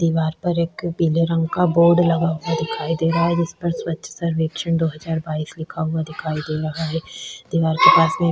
दीवार पर एक पीले रंग का बोर्ड लगा हुआ दिखाई दे रहा है जिसपर स्वच्छ सर्वेक्षण दो हज़ार बाईस लिखा हुआ दिखाई दे रहा है दीवार के पास में--